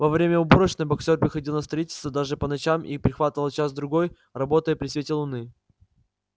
во время уборочной боксёр приходил на строительство даже по ночам и прихватывал час-другой работая при свете луны